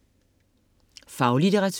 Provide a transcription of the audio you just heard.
Faglitteratur